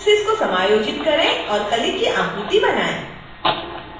vertices को समायोजित करें और कली की आकृति बनाएँ